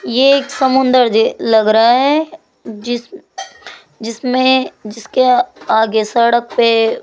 ये एक समुद्र जे लग रहा है जी जिसमें जिसके आगे सड़क पे --